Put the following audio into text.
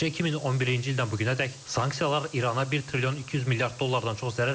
Təkcə 2011-ci ildən bu günədək sanksiyalar İrana 1 trilyon 200 milyard dollardan çox zərər verib.